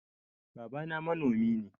Babana manomi ne.